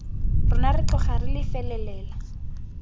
rona re tloga re felelela